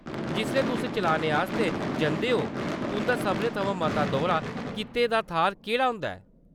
जिसलै तुस चलाने आस्तै जंदे ओ तुंʼदा सभनें थमां मता दौरा कीते दा थाह्‌र केह्‌ड़ा होंदा ऐ ?